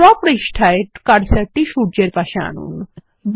draw পৃষ্ঠায় cursor টি সূর্যের পাশে আনুন